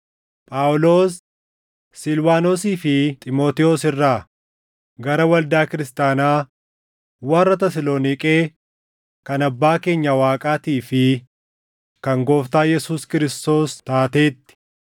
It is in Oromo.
Phaawulos, Silwaanosii fi Xiimotewos irraa, Gara Waldaa Kiristaanaa warra Tasaloniiqee kan Abbaa keenya Waaqaatii fi kan Gooftaa Yesuus Kiristoos taateetti: